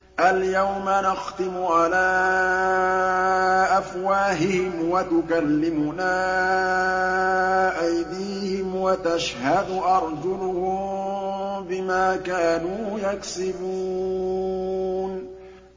الْيَوْمَ نَخْتِمُ عَلَىٰ أَفْوَاهِهِمْ وَتُكَلِّمُنَا أَيْدِيهِمْ وَتَشْهَدُ أَرْجُلُهُم بِمَا كَانُوا يَكْسِبُونَ